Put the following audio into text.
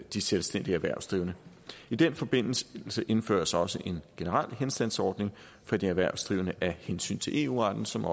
de selvstændige erhvervsdrivende i den forbindelse indføres der også en generel henstandsordning for de erhvervsdrivende af hensyn til eu retten som